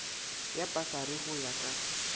ya pasari go ya ka